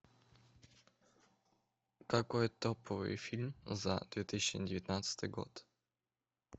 какой топовый фильм за две тысячи девятнадцатый год